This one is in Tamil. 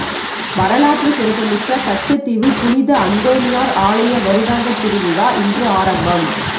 வரலாற்று சிறப்புமிக்க கச்சதீவு புனித அந்தோனியார் ஆலய வருடாந்த திருவிழா இன்று ஆரம்பம்